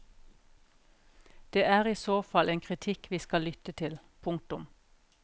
Det er isåfall en kritikk vi skal lytte til. punktum